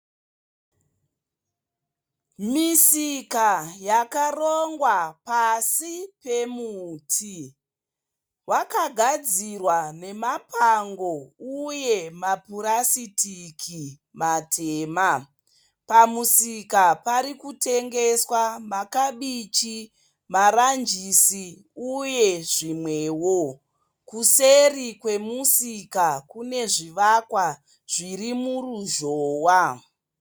Misika yakarongwa pasi pemuti. Wakagadzirwa nemapango uye mapurasitiki matema. Pamusika pari kutengeswa, makabichi ,maranjisi uye zvimwewo. Kuseri kwemusika kune zvivakwa zviri muruzhowa.